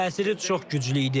Təsiri çox güclü idi.